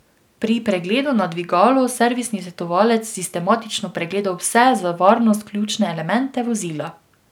Pri pregledu na dvigalu servisni svetovalec sistematično pregleda vse za varnost ključne elemente vozila.